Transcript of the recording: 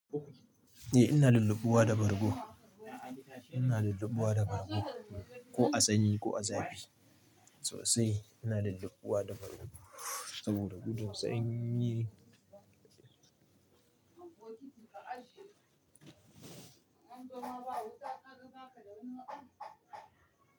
Eh ina lullubbuwa da bargo. Ina lullubbuwa da bargo ko a sanyi ko a zafi sosai. Ina lullubbuwa da bargo saboda gudun sanyi.